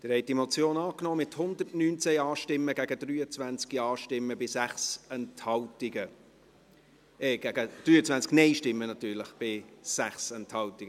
Sie haben diese Motion angenommen, mit 119 Ja-Stimmen gegen 23 Nein-Stimmen bei 6 Enthaltungen.